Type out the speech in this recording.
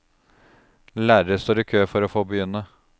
Lærere står i kø for å få begynne.